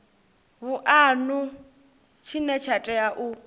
vhuanu tshine tsha tea u